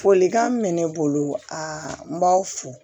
Folikan min bɛ ne bolo a n b'aw fo